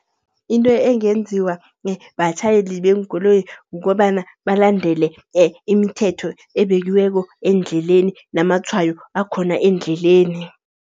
Into engenziwa batjhayeli beenkoloyi, kukobana balandele imithetho ebekiweko endleleni namatshwayo akhona endleleni.